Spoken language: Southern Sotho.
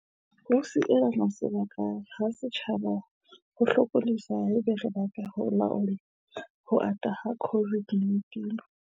Ho sielana sebaka ha setjhaba ho hlokolosi haeba re batla ho laola ho ata ha COVID-19.